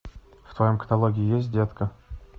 в твоем каталоге есть детка